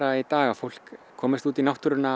í dag að fólk komist út í náttúruna